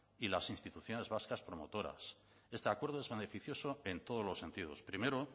y las instituciones vascas promotoras este acuerdo es beneficioso en todos los sentidos primero